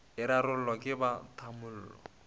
e rarollwa ke ba tamolo